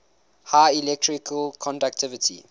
high electrical conductivity